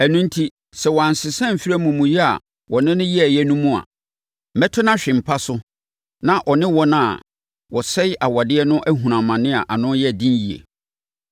Ɛno enti, sɛ wɔansesa amfiri amumuyɛ a wɔne no yɛeɛ no mu a, mɛto no ahwe mpa so na ɔno ne wɔn a wɔsɛe awadeɛ no ahunu amane a ano yɛ den yie.